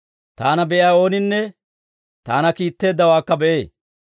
Taana be'iyaa ooninne Taana kiitteeddawaakka be'ee.